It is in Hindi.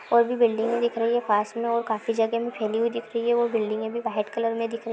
और ये बिलिंग भी दिख रही है पास में और खाफी जगह में फैली हुई दिख रही है वो बिलिंगे भी वाईट कलर में दिख रही।